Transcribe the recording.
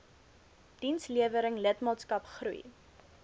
dienslewering lidmaatskap groei